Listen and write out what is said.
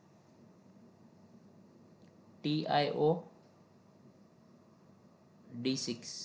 T I O D six